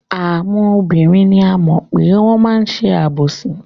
Àwọn obìnrin ni a mọ̀ pé wọ́n máa ń ṣe àbòsí.